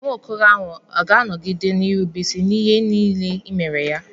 Nwa okoro ahụ ọ̀ ga-anọgide na-erube isi n'ihe n'ile I mere ya?